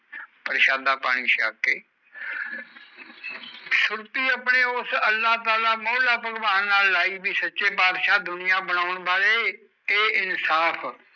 ਪ੍ਰਸ਼ਾਦਾ ਪਾਣੀ ਸ਼ੱਕ ਕੇ ਸੁਰਤਿ ਉਸ ਆਪਣੇ ਮੌਲਾ ਤਾਲਾ ਨਾਲ ਲਈ ਦੀ ਸੱਚੇ ਪਦਸ਼ਾ ਦੁਨੀਆਂ ਬਣੋਂ ਵਾਲੇ ਏ ਇਨਸਾਫ